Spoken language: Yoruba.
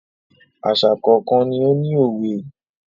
Àṣà kọ̀ọ̀kan ni ó ní òwe.